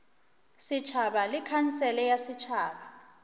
setšhaba le khansele ya setšhaba